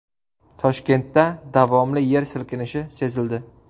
Toshkentda davomli yer silkinishi sezildi .